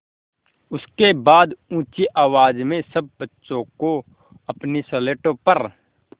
उसके बाद ऊँची आवाज़ में सब बच्चों को अपनी स्लेटों पर